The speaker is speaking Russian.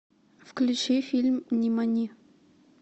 включи фильм нимани